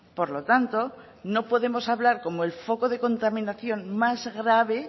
por lo tanto no podemos hablar como el foco de contaminación más grave